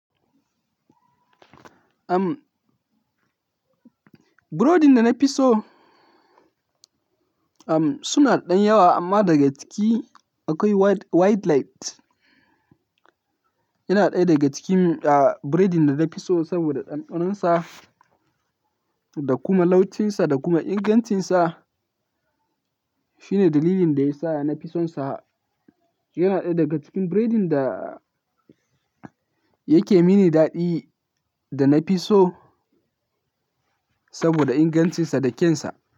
Am, burodi da na fi so, am, suna da ɗan yawa amma daga ciki akwai white, white light. Yana ɗaya daga cikin, ah, buredin da na fi so saboda ɗanɗanon sa da kuma laucin sa da kuma ingancin sa. Shine dalilin da ya sa na fi son sa. Yana ɗaya daga cikin buredin da yake mini daɗi da na fi so saboda ingancin sa da kyan sa.